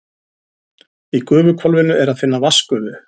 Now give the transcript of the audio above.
Í gufuhvolfinu er að finna vatnsgufu.